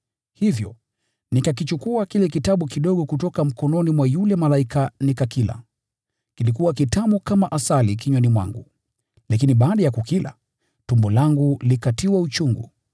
Hivyo nikakichukua kile kitabu kidogo kutoka mkononi mwa yule malaika nikakila. Kilikuwa kitamu kama asali kinywani mwangu, lakini baada ya kukila, tumbo langu likatiwa uchungu.